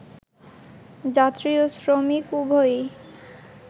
যাত্রী ও শ্রমিক উভয়ই